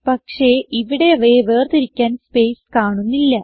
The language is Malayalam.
പക്ഷേ ഇവിടെ അവയെ വേർതിരിക്കാൻ സ്പേസ് കാണുന്നില്ല